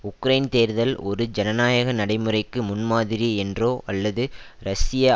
Ukraine தேர்தல் ஒரு ஜனநாயக நடைமுறைக்கு முன்மாதிரி என்றோ அல்லது ரஷ்ய